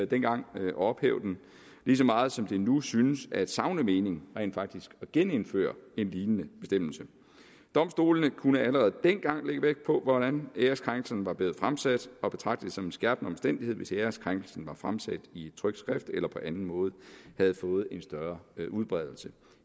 dengang at ophæve den ligeså meget som det nu synes at savne mening rent faktisk at genindføre en lignende bestemmelse domstolene kunne allerede dengang lægge vægt på hvordan æreskrænkelsen var blevet fremsat og betragte det som en skærpende omstændighed hvis æreskrænkelsen var fremsat i et trykt skrift eller på anden måde havde fået en større udbredelse